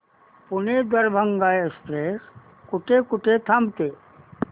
Pune Darbhanga express कुठे कुठे थांबते